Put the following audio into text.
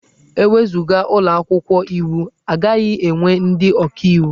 E wezuga ụlọ akwụkwọ iwu, a gaghị enwe ndị ọkaiwu.